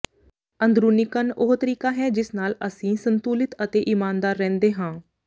ਅੰਦਰੂਨੀ ਕੰਨ ਉਹ ਤਰੀਕਾ ਹੈ ਜਿਸ ਨਾਲ ਅਸੀਂ ਸੰਤੁਲਿਤ ਅਤੇ ਇਮਾਨਦਾਰ ਰਹਿੰਦੇ ਹਾਂ